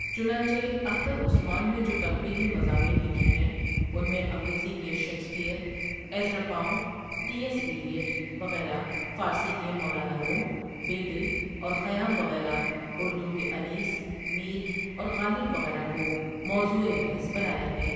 چنانچہ اخترؔ عثمان نے جو تنقیدی مضامین لکھے ہیں اُن میں انگریزی کے Shakespeare, Ezra Pound, T S Eliot وغیرہ فارسی کے مولانا روم ؔ، بیدل ؔ اور خیامؔ وغیرہ اُردو کے انیسؔ ، میرؔ اور غالب ؔ وغیرہ کو موضوعِ بحث بنایا ہے ۔